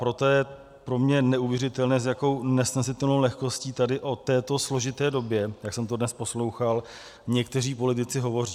Proto je pro mě neuvěřitelné, s jakou nesnesitelnou lehkostí tady o této složité době, jak jsem to dnes poslouchal, někteří politici hovoří.